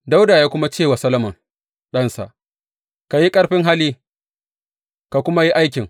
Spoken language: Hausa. Dawuda ya kuma ce wa Solomon ɗansa, Ka yi ƙarfin hali, ka kuma yi aikin.